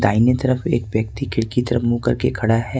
आइने तरफ एक व्यक्ति खिड़की तरफ मुंह करके खड़ा है।